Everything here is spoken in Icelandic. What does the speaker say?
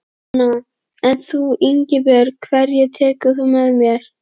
Fréttakona: En þú Ingibjörg, hverja tekur þú með þér?